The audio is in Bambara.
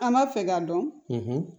An b'a fɛ k'a dɔn